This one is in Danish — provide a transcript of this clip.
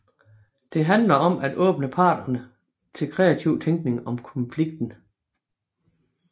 Det handler om at åbne parterne til kreativ tænkning om konflikten